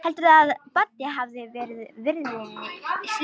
Heldurðu enn að Baddi hafi verið viðriðinn slysið?